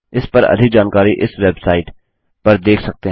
इस पर अधिक जानकारी इस वेबसाइट httpspoken tutorialorgNMEICT Intro पर देख सकते हैं